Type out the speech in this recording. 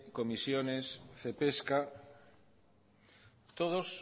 comisiones cepesca todos